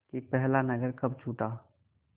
कि पहला नगर कब छूटा